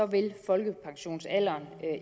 vil folkepensionsalderen